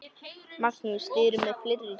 Magnús: Þið eruð með fleiri dýr?